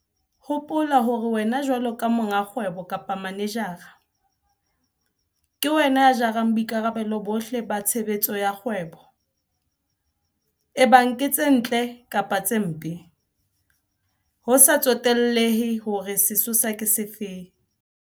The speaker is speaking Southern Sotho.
Hopola hore wena jwalo ka monga kgwebo kapa manejara, ke wena ya jarang boikarabelo bohle ba tshebetso ya kgwebo, ebang ke tse ntle kapa tse mpe, ho sa tsotellehe hore sesosa ke sefe.